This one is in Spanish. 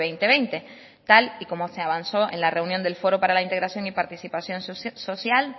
dos mil veinte tal y como se avanzó en la reunión del foro para la integración y participación social